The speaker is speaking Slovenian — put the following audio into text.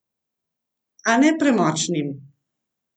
A ne premočnim!